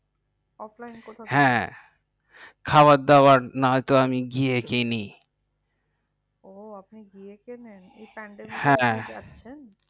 ofline কোথা থেকে হ্যাঁ। খাওয়া দাওয়া না হলে আমি গিয়ে কিনি। ও আপনি গিয়ে কিনেই। এই পান্ডামিকে হ্যাঁ